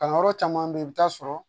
Kalanyɔrɔ caman be yen i bi taa sɔrɔ